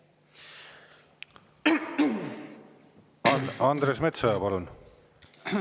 Andres Metsoja, palun!